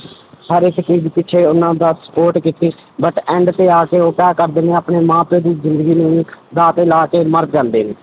ਹਰ ਇੱਕ ਚੀਜ਼ ਪਿੱਛੇ ਉਹਨਾਂ ਦਾ support ਕੀਤੀ but end ਤੇ ਆ ਕੇ ਉਹ ਕਿਆ ਕਰਦੇ ਨੇ ਆਪਣੇ ਮਾਂ ਪਿਓ ਦੀ ਜ਼ਿੰਦਗੀ ਦਾਅ ਤੇ ਲਾ ਕੇ ਮਰ ਜਾਂਦੇ ਨੇ।